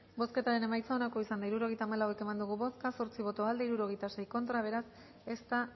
bozketaren emaitza onako izan da hirurogeita hamalau eman dugu bozka zortzi boto aldekoa sesenta y seis contra ez da